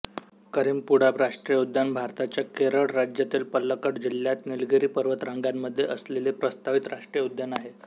करीम्पुळा राष्ट्रीय उद्यान भारताच्या केरळ राज्यातील पलक्कड जिल्ह्यात निलगिरी पर्वतरांगांमध्ये असलेले प्रस्तावित राष्ट्रीय उद्यान आहे